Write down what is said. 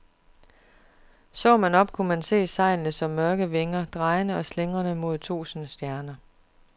Så man op, kunne man se sejlene som mørke vinger, drejende og slingrende mod tusinde stjerner.